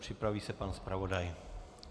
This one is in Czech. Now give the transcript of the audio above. Připraví se pan zpravodaj.